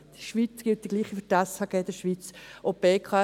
Für die Schweiz gilt das Gleiche wie im SHG.